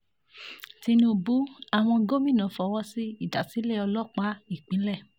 tinúbú àwọn gómìnà fọwọ́ sí ìdásílẹ̀ ọlọ́pàá ìpínlẹ̀